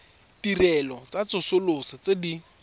ditirelo tsa tsosoloso tse di